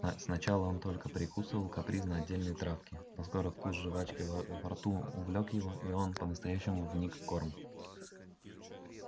да сначала он только прикусывал капризно отдельные травки но скоро вкус жвачки во во рту увлёк его и он по-настоящему вник в корм